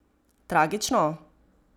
Tragično?